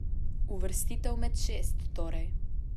Uvrstitev med šest torej.